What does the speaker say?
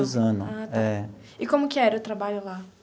Suzano. Ah tá. É. E como que era o trabalho lá?